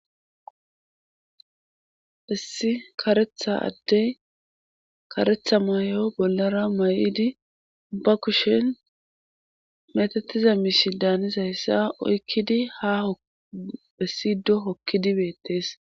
Issi karetha addey karetha mayy7o bollara may7idi ba kushel metatiza miishi daanizayssa oykkidi ha hessido hokkidi beettees